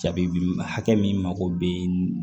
Jabi hakɛ min mako bɛ